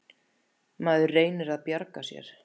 Maður reynir að bjarga sér.